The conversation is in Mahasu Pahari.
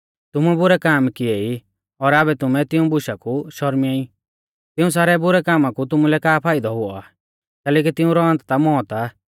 तुमुऐ बुरै काम किऐ ई और आबै तुमै तिऊं बुशा कु शौरमिंया ई तिऊं सारै बुरै कामा कु तुमुलै का फाइदौ हुऔ आ कैलैकि तिऊंरौ अन्त ता मौत आ